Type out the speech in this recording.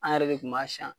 An yɛrɛ de kun b'a siyan